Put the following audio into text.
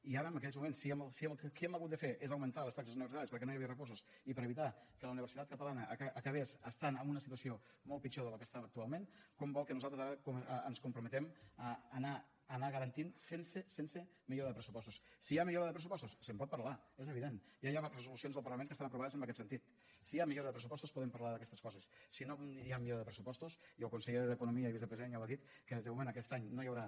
i ara en aquests moments què hem hagut de fer és augmentar les taxes universitàries perquè no hi havia recursos i per a evitar que la universitat catalana acabés estant en una situació molt pitjor de la que estava actualment com vol que nosaltres ara ens comprometem a garantir ho sense millora de pressupostos si hi ha millora de pressupostos se’n pot parlar és evident ja hi ha resolucions del parlament que estan aprovades en aquest sentit si hi ha millora de pressupostos podem parlar d’aquestes coses si no hi ha millora de pressupostos i el conseller d’economia i vicepresident ja ho ha dit que de moment aquest any no hi haurà